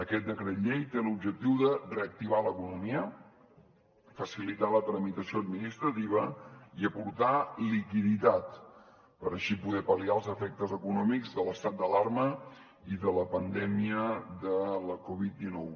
aquest decret llei té l’objectiu de reactivar l’economia facilitar la tramitació administrativa i aportar liquiditat per així poder pal·liar els efectes econòmics de l’estat d’alarma i de la pandèmia de la covid dinou